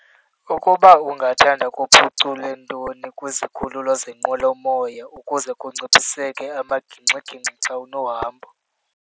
Ukuba ungathanda kuphuculwe ntoni kwizikhululo zenqwelomoya ukuze kuncipheseke amagingxigingxi xa unohambo.